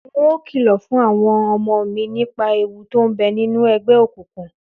N óò kìlò̩ fún àwo̩n o̩mo̩ mi nípa ewu to ń be̩ nínú e̩gbé̩ òkùnkùn